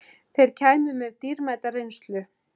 Þeir kæmu með dýrmæta reynslu